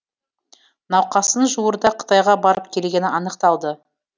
науқастың жуырда қытайға барып келгені анық та